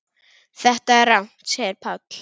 Þetta er rangt segir Páll.